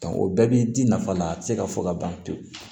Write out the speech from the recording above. o bɛɛ bi di nafa na a ti se ka fɔ ka ban pewu